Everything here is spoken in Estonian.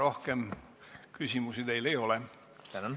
Rohkem küsimusi teile ei ole.